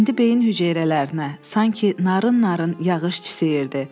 İndi beyin hüceyrələrinə sanki narın-narın yağış çisəyirdi.